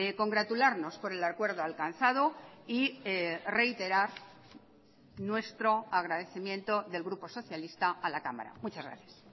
congratularnos por el acuerdo alcanzado y reiterar nuestro agradecimiento del grupo socialista a la cámara muchas gracias